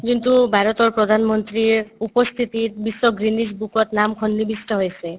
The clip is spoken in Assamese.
যোনটো ভাৰতৰ প্ৰধানমন্ত্ৰীৰ উপস্থিতিত বিশ্ব guinness book ত নাম সন্নিবিষ্ট হৈছে